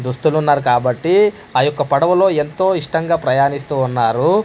దుస్తులున్నారు కాబట్టి ఆ యొక్క పడవలో ఎంతో ఇష్టంగా ప్రయాణిస్తూ ఉన్నారు.